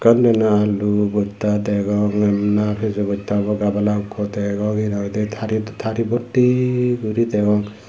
undi na alu bostta degong na piyajo botta obak gabala ekku degong henam hoidi tari Botti gori degong.